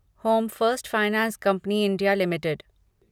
home first finance company India limited